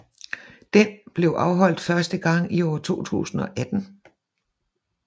Den blev afholdt første gang i år 2018